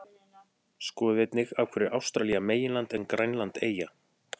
Skoðið einnig: Af hverju er Ástralía meginland en Grænland eyja?